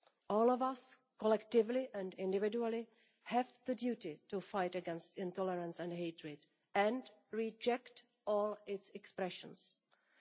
All of us, collectively and individually, have the duty to fight against intolerance and hatred and reject all expressions of them.